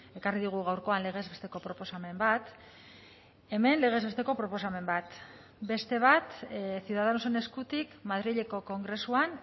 ekarri digu gaurkoan legez besteko proposamen bat hemen legez besteko proposamen bat beste bat ciudadanosen eskutik madrileko kongresuan